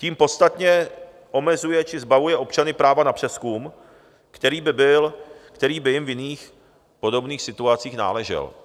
Tím podstatně omezuje či zbavuje občany práva na přezkum, který by jim v jiných podobných situacích náležel.